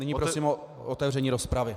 Nyní prosím o otevření rozpravy.